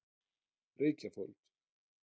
Reykjafold